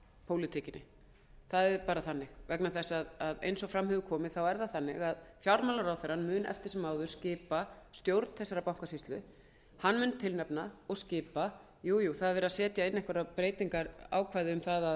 pólitíkinni það er bara þannig eins og fram hefur komið mun fjármálaráðherrann eftir sem áður skipa stjórn þessarar bankasýslu hann mun tilnefna og skipa jú jú það er verið að setja inn einhver breytingarákvæði